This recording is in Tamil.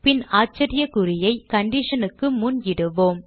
பின் ஆச்சரியக் குறியை condition க்கு முன் இடுவோம்